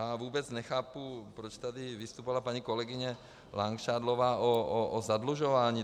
A vůbec nechápu, proč tady vystupovala paní kolegyně Langšádlová o zadlužování.